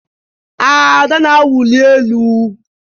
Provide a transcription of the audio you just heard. Ada na-awụli elu.